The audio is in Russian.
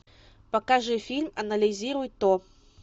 покажи фильм анализируй то